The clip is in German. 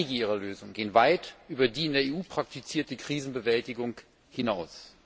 Denn einige ihrer Lösungen gehen weit über die in der EU praktizierte Krisenbewältigung hinaus.